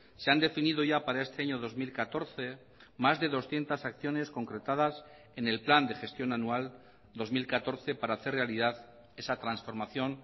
se han definido ya para este año dos mil catorce más de doscientos acciones concretadas en el plan de gestión anual dos mil catorce para hacer realidad esa transformación